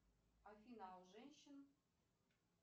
афина а у женщин